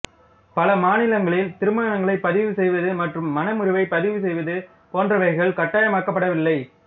பல மாநிலங்களில் திருமணங்களை பதிவு செய்வது மற்றும் மணமுறிவை பதிவு செய்வது போன்றவைகள் கட்டாயமாக்கப்படவில்லை